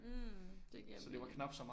mhm det giver mening